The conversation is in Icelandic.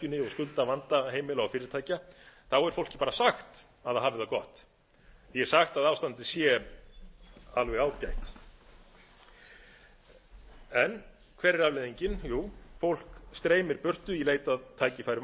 skuldavanda fyrirtækja þá er fólki bara sagt að það hafi það gott því er sagt að ástandið sé alveg ágætt hver er afleiðingin jú fólk streymir burtu í leit að tækifærum